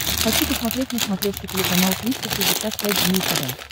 хочу посмотреть на смотрешке телеканал триста шестьдесят пять дней тв